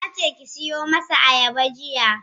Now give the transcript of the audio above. Yace ki siyo masa ayaba jiya.